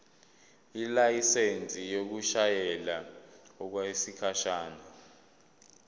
ilayisensi yokushayela okwesikhashana